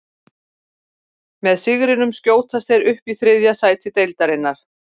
Með sigrinum skjótast þeir upp í þriðja sæti deildarinnar.